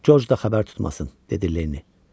Corc da xəbər tutmasın, dedi Lenni.